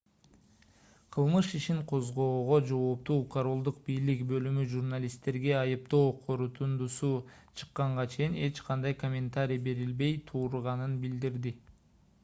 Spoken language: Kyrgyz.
кылмыш ишин козгоого жооптуу королдук бийлик бөлүмү журналисттерге айыптоо корутундусу чыкканга чейин эч кандай комментарий берилбей турганын билдирди